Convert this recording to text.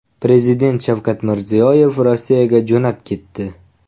Prezident Shavkat Mirziyoyev Rossiyaga jo‘nab ketdi.